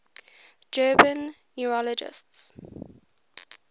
german neurologists